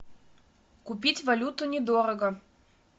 купить валюту недорого